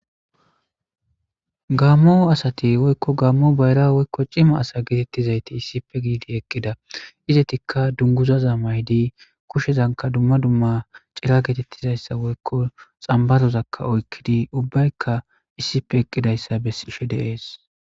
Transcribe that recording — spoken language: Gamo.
Gaammo asati woykko gaammo bayra cima asa getetizaytti issippe gifidii eeqida izetikka dunguzaza mayiddi kushshezankka dumma dumma cirazakka xambarozakka oyqidii uubbaykka issippe eqqidayssa besishe de'es.